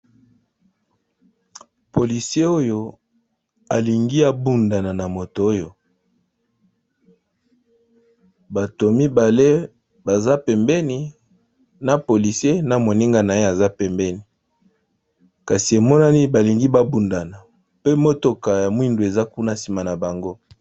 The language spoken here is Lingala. Police oyo alingi abundana na moto oyo bato mibale baza pembeni na polisi na moninga na ye aza pembeni kasi emonani balingi babundana pe motoka ya mwindu eza kuna nsima na bango.